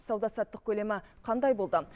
сауда саттық көлемі қандай болды